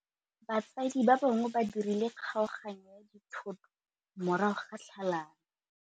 Batsadi ba gagwe ba dirile kgaoganyô ya dithoto morago ga tlhalanô.